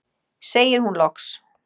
segir hún loks.